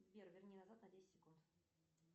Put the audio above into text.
сбер верни назад на десять секунд